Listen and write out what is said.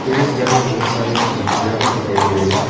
इस घर में बहोत सारे खिड़किया भी दिखाई दे रहे हैं।